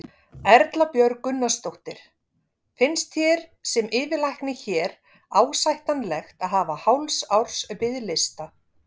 Erla Björg Gunnarsdóttir: Finnst þér sem yfirlæknir hér ásættanlegt að hafa hálfs árs biðlista?